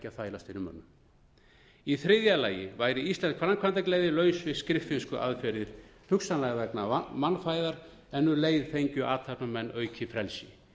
þvælast fyrir mönnum í þriðja lagi væri íslensk framkvæmdagleði laus við skriffinnskuaðferðir hugsanlega vegna mannfæðar en um leið fengju athafnamenn aukið frelsi